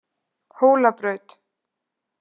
Hólabraut